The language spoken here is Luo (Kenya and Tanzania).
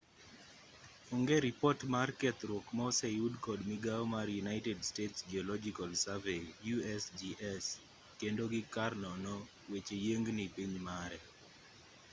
onge ripot mar kethruok ma oseyud kod migao mar united states geological survey usgs kendo gi kar nono weche yieng'ni piny mare